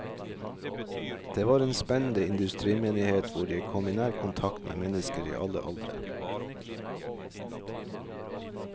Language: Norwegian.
Det var en spennende industrimenighet, hvor jeg kom i nær kontakt med mennesker i alle aldre.